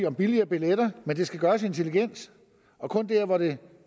om billigere billetter men det skal gøres intelligent og kun der hvor det